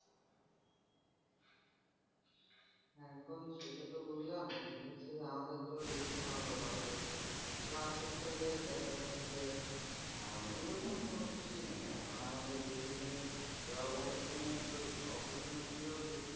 এখন সেটা তো বুজলাম কিন্তু হচ্ছে যে আমাদের তো দিচ্ছেনা auto pass ও plush হচ্ছে যে দেখা যাচ্ছে যে আহ ওই রকম কোনো কিছুই নেই এখন আমাদের বেশ হইলে যা opportu opportunity ও দেখছি।